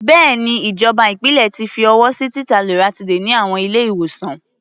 Bẹ́ẹ̀ni, ìjọba ìpínlẹ̀ ti fi ọwọ́ sí títa loratiday ní àwọn ilé-ìwòsàn.